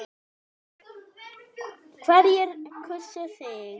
Hverjir kusu þig?